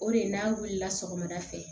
O de ye n'a wulila sɔgɔmada fɛ